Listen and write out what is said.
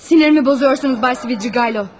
Sinirimi bozursunuz, Baysi Bilçi Gaylo.